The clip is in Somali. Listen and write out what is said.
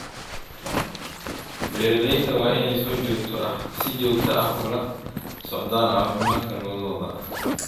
Beeralayda waa inay si joogto ah ula socdaan caafimaadka lo’dooda.